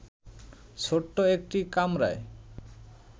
ছোট্ট একটি কামরায়